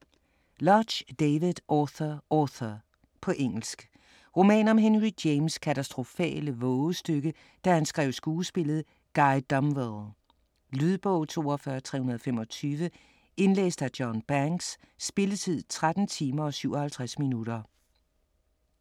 Lodge, David: Author, author På engelsk. Roman om Henry James' katastrofale vovestykke da han skrev skuespillet Guy Domville. Lydbog 42325 Indlæst af John Banks. Spilletid: 13 timer, 57 minutter.